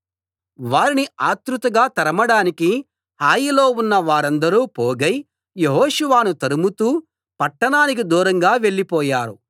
వారిని ఆత్రుతగా తరమడానికి హాయిలో ఉన్న వారందరూ పోగై యెహోషువను తరుముతూ పట్టణానికి దూరంగా వెళ్లిపోయారు